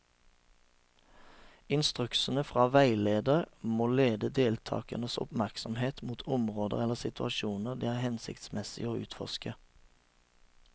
Instruksjonene fra veileder må lede deltakernes oppmerksomhet mot områder eller situasjoner det er hensiktsmessig å utforske.